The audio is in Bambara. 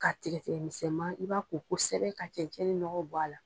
Ka tigɛ tigɛ misɛn ma i b'a ko kosɛbɛ ka cɛncɛn ni ɲɔgɔ bɔ a la.